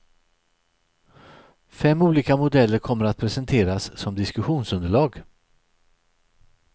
Fem olika modeller kommer att presenteras som diskussionsunderlag.